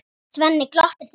Svenni glottir til Bjössa.